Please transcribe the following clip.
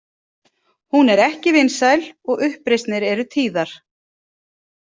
Hún er ekki vinsæl og uppreisnir eru tíðar.